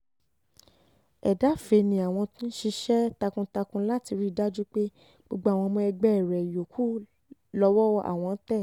ẹ̀dàfẹ́ ni àwọn ń ṣiṣẹ́ takuntakun láti rí i dájú pé gbogbo àwọn ọmọ ẹgbẹ́ rẹ̀ yòókù lọ́wọ́ àwọn tẹ́